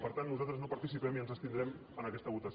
per tant nosaltres no hi participem i ens abstindrem en aquesta votació